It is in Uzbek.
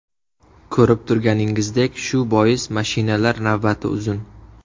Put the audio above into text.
Ko‘rib turganingizdek shu bois mashinalar navbati uzun”.